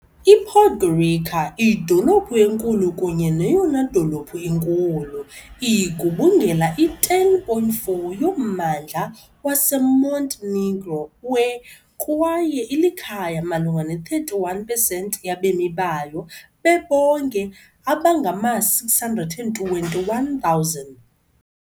I-Podgorica, idolophu enkulu kunye neyona dolophu inkulu, igubungela i-10.4 yommandla waseMontenegro we- , kwaye ilikhaya malunga ne-31pesenti yabemi bayo bebonke abangama-621,000.